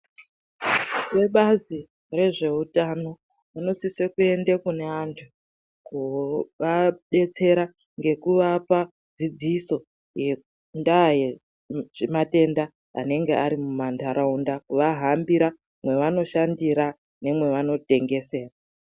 Vebazi rezvewutano vanosise kuyende kuna antu, kuvabetsera ngekuvapa dzidziso yendaya yezvimatenda anenge arimumandarawunda, vahambira mavanoshashandira nemavanotengesera.